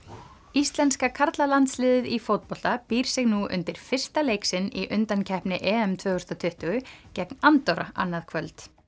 íslenska karlalandsliðið í fótbolta býr sig nú undir fyrsta leik sinn í undankeppni tvö þúsund og tuttugu gegn Andorra annað kvöld